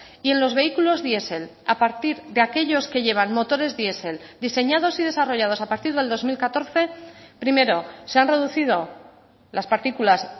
y en los vehículos diesel a partir de aquellos que llevan motores diesel diseñados y desarrollados a partir del dos mil catorce primero se han reducido las partículas